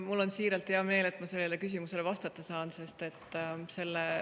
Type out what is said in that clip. Mul on siiralt hea meel, et ma sellele küsimusele vastata saan.